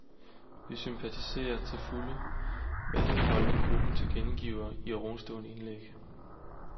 Vi sympatiserer til fulde med den holdning gruppen tilkendegiver i ovenstående indlæg.